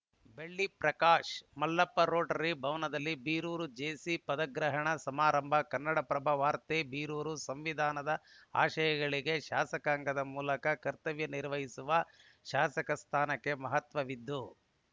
ಬೆಳ್ಳಿ ಪ್ರಕಾಶ್‌ ಮಲ್ಲಪ್ಪ ರೋಟರಿ ಭವನದಲ್ಲಿ ಬೀರೂರು ಜೆಸಿ ಪದಗ್ರಹಣ ಸಮಾರಂಭ ಕನ್ನಡಪ್ರಭ ವಾರ್ತೆ ಬೀರೂರು ಸಂವಿಧಾನದ ಆಶಯಗಳಿಗೆ ಶಾಸಕಾಂಗದ ಮೂಲಕ ಕರ್ತವ್ಯ ನಿರ್ವಹಿಸುವ ಶಾಸಕ ಸ್ಥಾನಕ್ಕೆ ಮಹತ್ವವಿದ್ದು